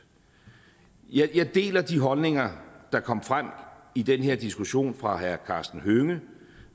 jeg deler de holdninger der kom frem i den her diskussion fra herre karsten hønge